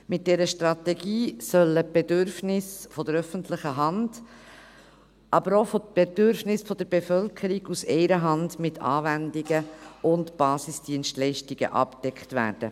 Mit dieser Strategie sollen die Bedürfnisse der öffentlichen Hand, aber auch die Bedürfnisse der Bevölkerung mit Anwendungen und Basisdienstleistungen aus einer Hand abgedeckt werden.